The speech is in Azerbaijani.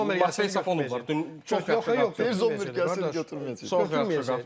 Zommer yaxşı qapıçıdır, Matveya Safonov var, yox, yox, Zommer gəlsin götürməyəcək, götürməyəcək.